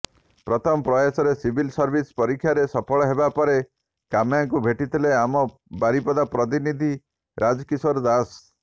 ପ୍ରଥମ ପ୍ରୟାସରେ civil service ପରୀକ୍ଷାରେ ସଫଳ ହେବା ପରେ କାମ୍ୟାଙ୍କୁ ଭେଟିଥିଲେ ଆମ ବାରିପଦା ପ୍ରତିନିଧି ରାଜକିଶୋର ଦାଶ